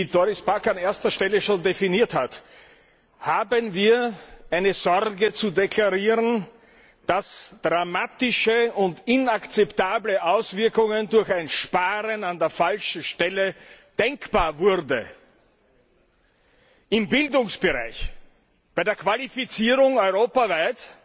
Wie Doris Pack an erster Stelle schon definiert hat, haben wir eine Sorge zu deklarieren, dass dramatische und inakzeptable Auswirkungen durch ein Sparen an der falschen Stelle denkbar wurden im Bildungsbereich, bei der Qualifizierung europaweit!